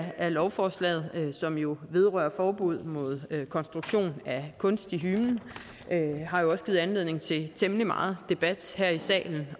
af lovforslaget som jo vedrører forbud mod konstruktion at kunstig hymen har også givet anledning til temmelig meget debat her i salen